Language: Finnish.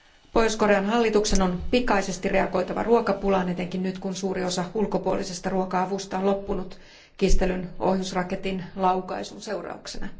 Pohjois Korean hallituksen on pikaisesti reagoitava ruokapulaan, etenkin nyt kun suuri osa ulkopuolisesta ruoka avusta on loppunut kiistellyn ohjusraketin laukaisun seurauksena.